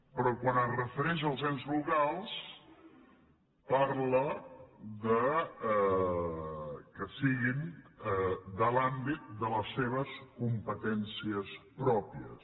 però quan es refereix als ens locals parla que siguin de l’àmbit de les seves competències pròpies